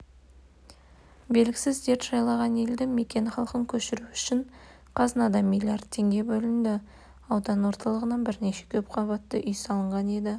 белгісіз дерт жайлаған елді мекен халқын көшіру үшін қазынадан миллиард теңге бөлініп аудан орталығынан бірнеше көпқабатты үй салынған еді